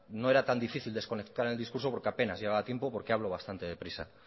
no era tan difícil desconectar el discurso porque apenas llevaba tiempo porque hablo bastante deprisa